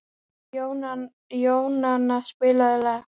Jónanna, spilaðu lag.